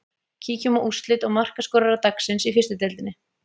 Kíkjum á úrslit og markaskorara dagsins í fyrstu deildinni.